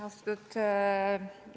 Austatud eesistuja!